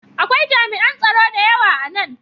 Akwai jami'an tsaro da yawa a nan.